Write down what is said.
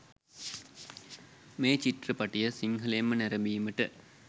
මේ චිත්‍රපටය සිංහලෙන්ම නැරඹීමට